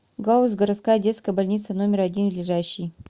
гауз городская детская больница номер один ближайший